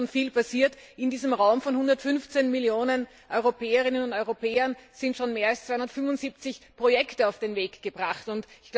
Es ist schon viel passiert In diesem Raum, in dem 115 Millionen Europäerinnen und Europäer leben, sind schon mehr als 275 Projekte auf den Weg gebracht worden.